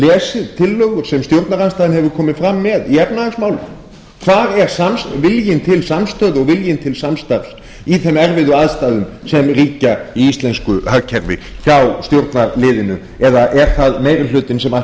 lesið tillögur sem stjórnarandstaðan hefur komið fram með í efnahagsmálum hvar er viljinn til samstöðu og viljinn til samstarfs í þeim erfiðu aðstæðum sem ríkja í íslensku hagkerfi hjá stjórnarliðinu eða er það meiri hlutinn sem ætlar